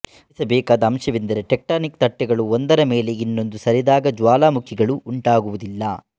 ಗಮನಿಸಬೇಕಾದ ಅಂಶವೆಂದರೆ ಟೆಕ್ಟಾನಿಕ್ ತಟ್ಟೆಗಳು ಒಂದರ ಮೇಲೆ ಇನ್ನೊಂದು ಸರಿದಾಗ ಜ್ವಾಲಾಮುಖಿಗಳು ಉಂಟಾಗುವುದಿಲ್ಲ